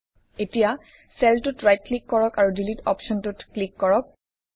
এতিয়া চেলটোত right click কৰক আৰু ডিলিট অপশ্বনটোত ক্লিক কৰক